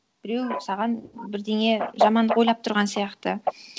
біреу саған бірдеңе жамандық ойлап тұрған сияқты